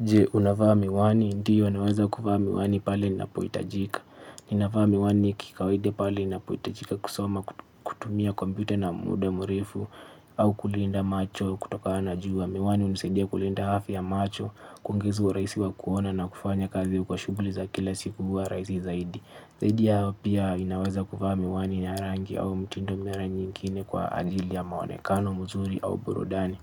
Je, unavaa miwani, ndiyo naweza kuvaa miwani pale ninapoitajika. Ninavaa miwani kikawaide pale ninapoitajika kusoma kutumia komputa na muda murefu au kulinda macho kutokana na jua miwani hunisaidia kulinda hafya ya macho kuongeza uraisi wa kuona na kufanya kazi kwa shughli za kila siku huwa raisi zaidi. Zaidi ya hayo pia ninaweza kuvaa miwani ya rangi au mtindo mara nyingine kwa ajili ya maonekano, mzuri au burudani.